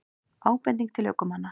Ábending til ökumanna